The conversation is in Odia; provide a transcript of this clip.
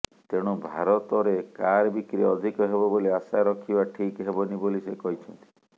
ତେଣୁ ଭାରତରେ କାର୍ ବିକ୍ରି ଅଧିକ ହେବ ବୋଲି ଆଶା ରଖିବା ଠିକ୍ ହେବନି ବୋଲି ସେ କହିଛନ୍ତି